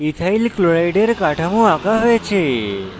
ethyl chloride এর কাঠামো আঁকা হয়েছে